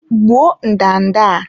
Gbuo ndanda a!